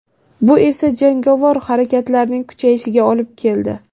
Bu esa jangovar harakatlarning kuchayishiga olib keldi.